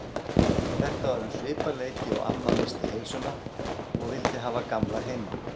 Þetta var um svipað leyti og amma missti heilsuna og vildi hafa Gamla heima.